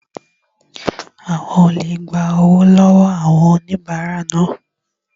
Àwọn olè gba owó lọ wọọ àwọn onibarapa naa